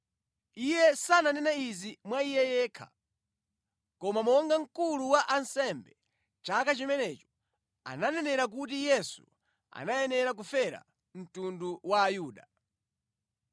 Iye sananene izi mwa iye yekha, koma monga mkulu wa ansembe chaka chimenecho ananenera kuti Yesu anayanera kufera mtundu wa Ayuda,